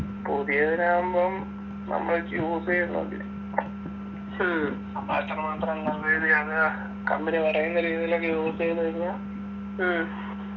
പുതിയതിനാവുമ്പം നമ്മള് വെച്ച് use എയ്ന്നോണ്ട് അപ്പൊ എത്ര മാത്രം use എയ്തയാന്ന് company പറയുന്ന രീതിലൊക്കെ use ചെയ്തു കഴിഞ്ഞാ